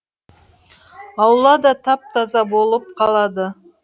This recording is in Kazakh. аула да тап таза болып қалады